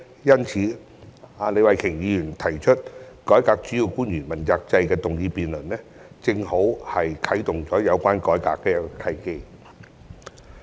因此，李慧琼議員提出"改革主要官員問責制"的議案進行辯論，正好是啟動有關改革的一個契機。